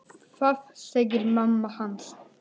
Það segir mamma hans.